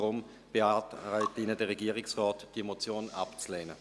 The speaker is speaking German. Deshalb beantragt Ihnen der Regierungsrat, diese Motion abzulehnen.